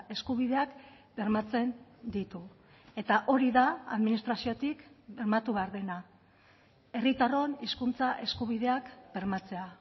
eskubideak bermatzen ditu eta hori da administraziotik bermatu behar dena herritarron hizkuntza eskubideak bermatzea